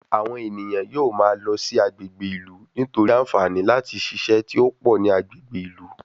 Àwọn ènìyàn yóò máa lọ sí agbègbè ìlú, nítorí àǹfààní láti ṣiṣẹ́ tí ó pọ̀ ní agbègbè ìlú